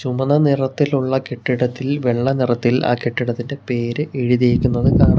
ചുമന്ന നിറത്തിലുള്ള കെട്ടിടത്തിൽ വെള്ള നിറത്തിൽ ആ കെട്ടിടത്തിന്റെ പേര് എഴുതിയിരിക്കുന്നത് കാണാം.